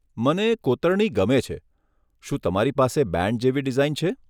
મને કોતરણી ગમે છે. શું તમારી પાસે બેન્ડ જેવી ડિઝાઇન છે?